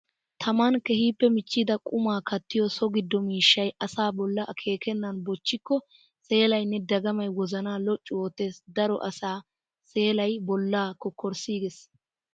Taman keehippe michchida qumaa kattiyo so gido miishshay asaa bolla akeekenan bochchikko seelayinne dagamay wozana loccu oottes! Daro asaa seelay bolla kokkorssigees!